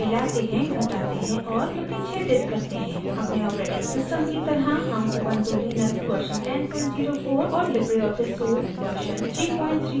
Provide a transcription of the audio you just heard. अपने operating system की तरह हम ubuntu लिनक्स version 1004 और लिबरे ऑफिस suite version 334 प्रयोग कर रहे हैं